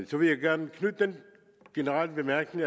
så vil jeg gerne knytte den generelle bemærkning